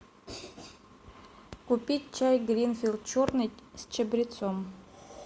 купить чай гринфилд черный с чабрецом